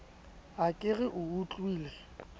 ha ke re o utlwile